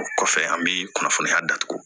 O kɔfɛ an bɛ kunnafoniya datugu